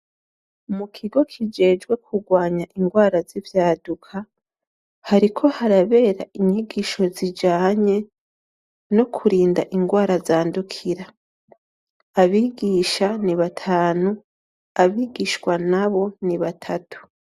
Mukigo kijejwe kugwanya ingwara z’ivyaduka, hariko harabera inyigisho zijanye ,no kurinda ingwara zandukira. Abigisha ni batanu , abigishwa nabo ni batatu.